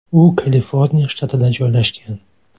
U Kaliforniya shtatida joylashgan.